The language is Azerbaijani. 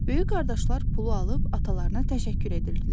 Böyük qardaşlar pulu alıb atalarına təşəkkür edirdilər.